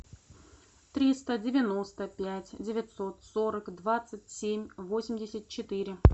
триста девяносто пять девятьсот сорок двадцать семь восемьдесят четыре